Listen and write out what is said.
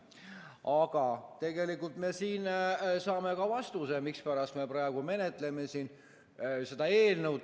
Aga tegelikult me siin saame ka vastuse, mispärast me praegu menetleme siin seda eelnõu.